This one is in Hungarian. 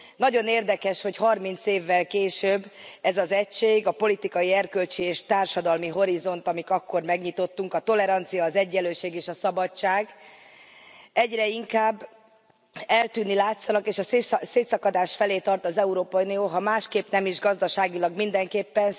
Nagyon érdekes, hogy 30 évvel később ez az egység, a politikai, erkölcsi és társadalmi horizont, amit akkor megnyitottuk, a tolerancia, az egyenlőség és a szabadság egyre inkább eltűnni látszanak, és a szétszakadás felé tart az Európai Unió, ha másképp nem is, gazdaságilag mindenképpen.